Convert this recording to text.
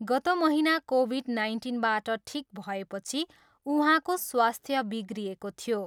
गत महिना कोभिड नाइन्टिनबाट ठिक भएपछि उहाँको स्वास्थ्य बिग्रिएको थियो।